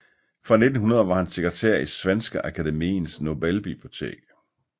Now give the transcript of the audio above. Fra 1900 var han sekretær i Svenska Akademiens Nobelbibliotek